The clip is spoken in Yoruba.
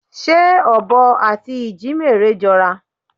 Ṣé ọ̀bọ àti ìjímérè jọra?